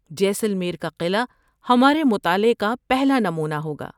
جیسلمیر کا قلعہ ہمارے مطالعے کا پہلا نمونہ ہوگا۔